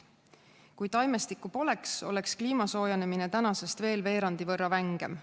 Kui taimestikku poleks, oleks kliima soojenemine tänasest veel veerandi võrra vängem.